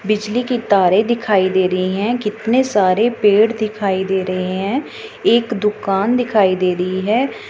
बिजली की तारे दिखाई दे रही हैं कितने सारे पेड़ दिखाई दे रहे हैं एक दुकान दिखाई दे रही है।